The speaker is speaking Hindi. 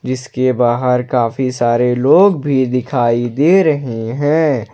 जिसके बाहर काफी सारे लोग भी दिखाई दे रहे हैं।